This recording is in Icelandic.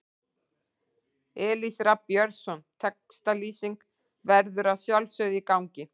Elís Rafn Björnsson Textalýsing verður að sjálfsögðu í gangi.